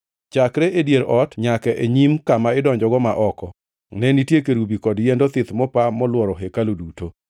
Chakre e dier ot nyaka e nyim kama idonjogo ma oko, ne nitie kerubi kod yiend othith mopa molworo hekalu duto.